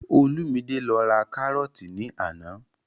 Olúmidé lọ ra kárọ́ọ̀tì ní àná